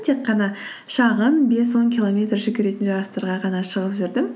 тек қана шағын бес он километр жүгіретін жарыстарға ғана шығып жүрдім